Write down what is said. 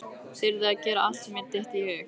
Þyrði að gera allt sem mér dytti í hug.